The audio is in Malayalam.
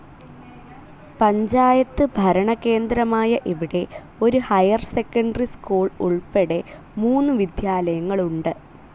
പഞ്ചായത്ത് ഭരണകേന്ദ്രമായ ഇവിടെ ഒരു ഹൈർ സെക്കൻഡറി സ്കൂൾ ഉൾപ്പെടെ മൂന്ന് വിദ്യാലയങ്ങൾ ഉണ്ട്.